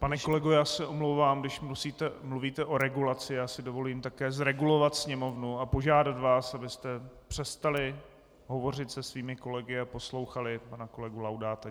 Pane kolego, já se omlouvám, když mluvíte o regulaci, já si dovolím také zregulovat sněmovnu a požádat vás, abyste přestali hovořit se svými kolegy a poslouchali pana kolegu Laudáta.